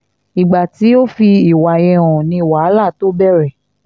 ìgbà tí o fi ìwà yẹn hàn ni wàhálà tóo bẹ̀rẹ̀